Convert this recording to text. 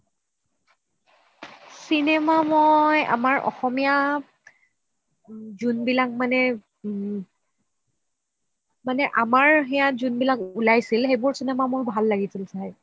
cinema মই আমাৰ অসমীয়া যোনবিলাক মানে, মানে আমাৰ সেইয়াত যোনবিলাক উলাইছিল সেইবোৰ চিনেমা মোৰ ভাল লাগিছিল চাই